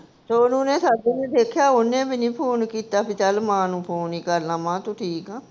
ਸੋਨੂੰ ਨੇ ਦੇਖਿਆ, ਓਹਨੇ ਵੀ ਨੀ ਫੋਨ ਕੀਤਾ ਵੀ ਚਲ ਮਾਂ ਨੂੰ ਫੋਨ ਹੀ ਕਰਲਾਂ, ਮਾਂ ਤੂੰ ਠੀਕ ਆ?